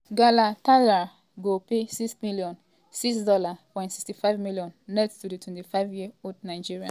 galatasaray go pay €6 million ($6.65 million) net to di 25-year-old nigerian international for di 2024-2025 season di club tok for one statement.